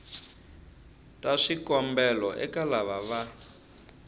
ta swikombelo eka lava va